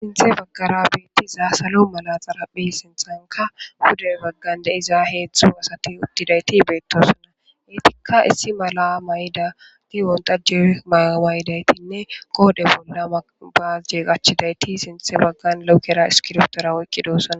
Sinthe baggara beetti zaa salo mala xaraphi sinthanka hudey baggande iza heethzthu asati uttidayti beettossana eetikka issi mala may'dati wontajje mawaayidaytinne qoode bolla baazjee qachidayti sinthe baggan loukera iskirootora woyqqidosana